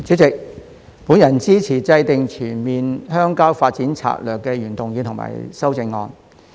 主席，我支持"制訂全面鄉郊發展政策"的原議案和修正案。